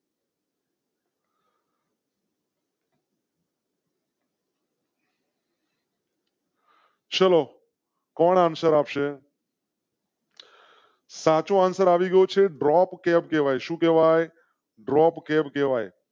ચલો કૌન answer આપશે? સાચો અંસ્વેર આવીગયો છે કહેવાય. હવે શું કેવાય?